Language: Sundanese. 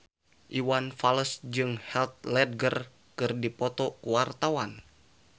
Iwan Fals jeung Heath Ledger keur dipoto ku wartawan